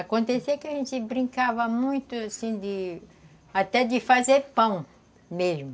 Acontecia que a gente brincava muito assim de... Até de fazer pão mesmo.